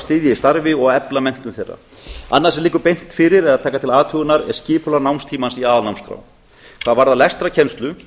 styðja í starfi og efla menntun þeirra annað sem liggur beint fyrir er að taka til athugunar skipulag námstímans í aðalnámskrá hvað varðar lestrarkennslu